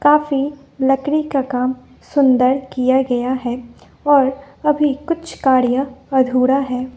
काफी लड़की का काम सुंदर किया गया है और अभी कुछ कार्य अधूरा है।